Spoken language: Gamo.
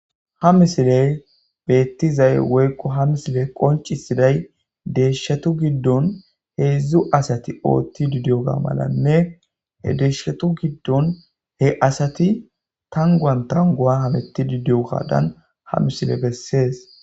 ha misiley beettizay woykko ha misiley qoncisiday deeshatu giddon heedzdzu asati oottidi diyoga malanne he deeshatu giddon he asati tanguan tangua hameti didiyogadan ha misiley bessees